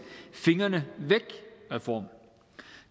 fingrene væk reform